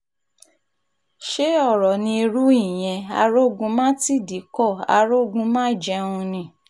ṣe ọ̀rọ̀ ní irú ìyẹn arógun-má-tìdí kó arógun-má-jẹun ni